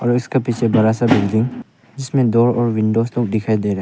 और इसके पीछे बड़ा सा बिल्डिंग जिसमें डोर और विंडोज लोग दिखाई दे रहा है।